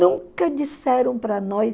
Nunca disseram para nós.